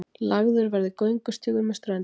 Lagður verði göngustígur með ströndinni